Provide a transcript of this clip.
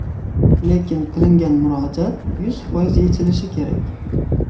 Lekin qilingan murojaat yuz foiz yechilishi kerak.